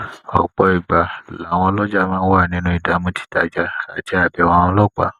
òpò ìgbà làwọn olojà máa ń wa ninu idamu titaja ati abewo àwọn ọlópàá